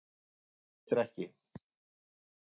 Forsetinn staðfestir ekki